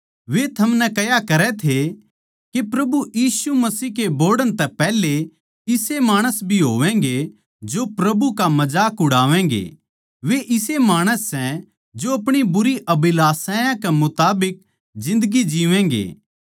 वे थमनै कह्या करै थे के प्रभु यीशु मसीह के बोहड़ण तै पैहले इसे माणस भी होवैंगे जो प्रभु का मजाक उड़ावैंगे वे इसे माणस सै जो अपणी बुरी अभिलाषायां कै मुताबिक जिन्दगी जीवैंगे